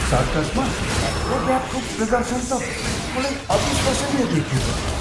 सर्कसमा एक्रोब्याटको प्रदर्शन त बिल्कुलै अविश्वसनीय देखिएको थियो!